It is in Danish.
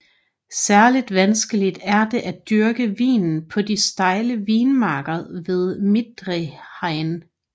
Særligt vanskeligt er det at dyrke vinen på de stejle vinmarker ved Mittelrhein